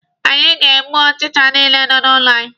Anyị ga-egbu ọchicha niile nọ n'ụlọ anyị.